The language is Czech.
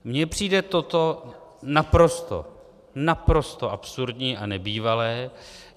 Mně přijde toto naprosto, naprosto absurdní a nebývalé.